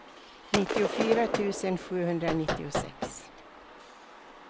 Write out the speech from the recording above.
nittiofyra tusen sjuhundranittiosex